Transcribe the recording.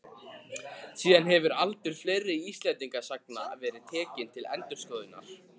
Síðan hefur aldur fleiri Íslendingasagna verið tekinn til endurskoðunar.